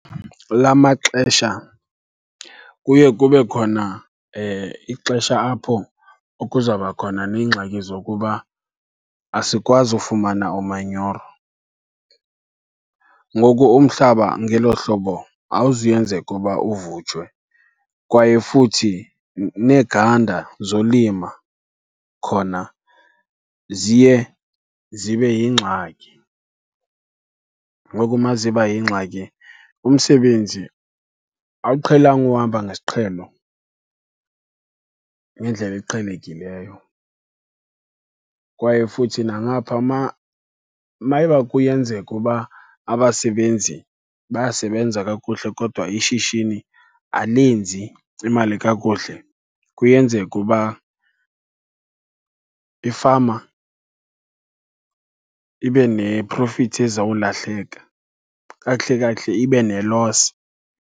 La maxesha kuye kube khona ixesha apho kuzawuba khona neengxaki zokuba asikwazi ufumana umanyoro. Ngoku umhlaba ngelo hlobo awuzuyenzeka uba uvutshwe kwaye futhi neegada zolima khona ziye zibe yingxaki. Ngoku uma ziba yingxaki umsebenzi awuqhelanga uhamba ngesiqhelo, ngendlela eqhelekileyo. Kwaye futhi nangapha mayiba kuyenzeka uba abasebenzi bayasebenza kakuhle kodwa ishishini alenzi imali kakuhle, kuyenzeka uba ifama ibe neprofithi ezawulahleka. Kakuhle kakuhle ibe ne-loss.